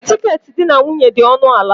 Tiketi di na nwunye dị ọnụ ala.